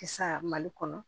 Kisa mali kɔnɔ